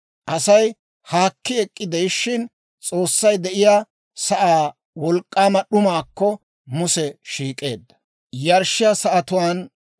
Asay haakki ek'k'ide'ishshin, S'oossay de'iyaa sa'aa wolk'k'aama d'umaakko Muse shiik'eedda.